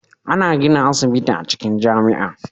Ana gina asibiti acikin jamia